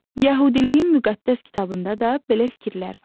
Yəhudiliyin müqəddəs kitabında da belə fikirlər var.